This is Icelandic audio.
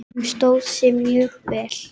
Hún stóð sig mjög vel.